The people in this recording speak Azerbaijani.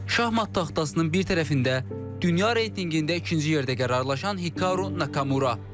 Şahmat taxtasının bir tərəfində dünya reytinqində ikinci yerdə qərarlaşan Hikaru Nakamura.